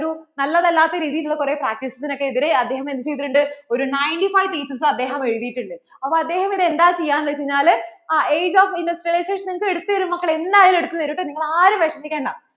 നല്ലത് അല്ലാത്ത രീതിയിൽ ഉള്ള കുറെ practices നൊക്കെ എതിരേ അദ്ദേഹം എന്ത് ചെയ്‌തിട്ടുണ്ട്? ഒരു ninety fiveThesis അദ്ദേഹം എഴുതിയിട്ട് ഉണ്ട്. അപ്പോൾ അദ്ദേഹം ഇവിടെ എന്താ ചെയ്യാ എന്ന്വച്ചാല് ആഹ് Age of industrialization നിങ്ങൾക്കു എടുത്തു തരും മക്കളെ എന്ന് ആയാലും എടുത്തു തരും കേട്ടോ നിങ്ങൾ ആരും വിഷമിക്കേണ്ട